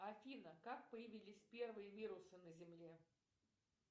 афина как появились первые вирусы на земле